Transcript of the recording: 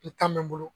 I ta bɛ n bolo